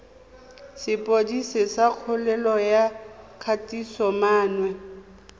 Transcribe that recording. sepodisi sa kgololo ya kgatisomenwa